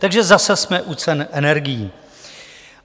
Takže zase jsme u cen energií.